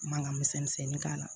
Mankan misɛn misɛnnin k'a la